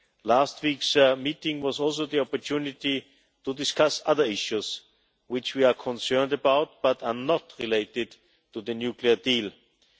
Last week's meeting was also an opportunity to discuss other issues which we are concerned about but are not related to the nuclear deal.